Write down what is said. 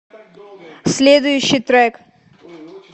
следующий трек